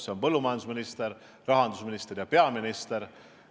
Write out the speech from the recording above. Need on põllumajandusminister, rahandusminister ja peaminister.